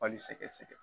Bali sɛgɛsɛgɛ